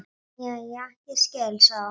Jæja, ég skil, sagði hún.